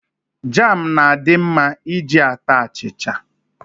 Jam na-adi mma iji ata achicha.